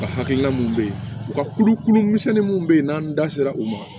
Ka hakilina mun be yen u ka kulukulu misɛnnin minnu bɛ yen n'an da sera u ma